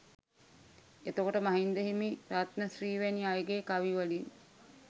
එතකොට මහින්ද හිමි රත්න ශ්‍රී වැනි අයගේ කවි වලින්